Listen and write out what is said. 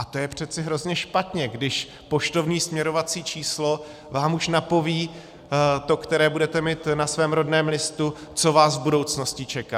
A to je přece hrozně špatně, když poštovní směrovací číslo vám už napoví, to, které budete mít na svém rodném listu, co vás v budoucnosti čeká.